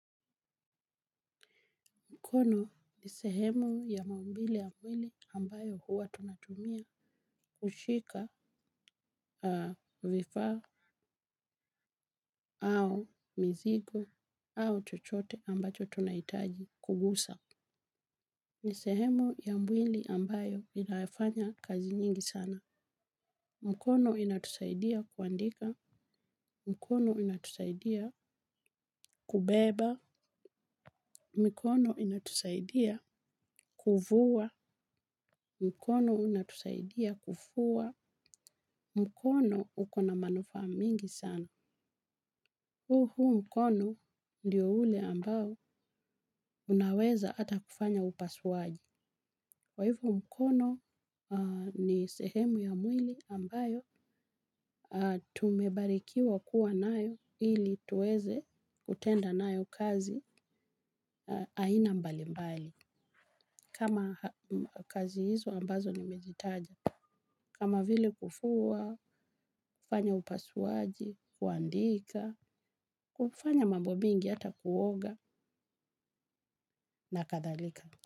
Mkono ni sehemu ya maumbile ya mwili ambayo huwa tunatumia kushika vifaa au mizigo au chochote ambacho tunahitaji kugusa. Ni sehemu ya mwili ambayo inayofanya kazi nyingi sana. Mikono inatusaidia kuandika, mikono inatusaidia kubeba, mikono inatusaidia kuvua, mkono unatusaidia kufua, mkono uko na manufaa mingi sana. Uhu mkono ndiyo ule ambao unaweza ata kufanya upasuaji. Kwahivyo mkono aha ni sehemu ya mwili ambayo aha tumebarikiwa kuwa nayo ili tuweze kutenda nayo kazi aina mbali mbali. Kama kazi hizo ambazo ni mezitaja. Kama vile kufuwa, kufanya upasuaji, kuandika, kufanya mambo mengi hata kuoga na kadhalika.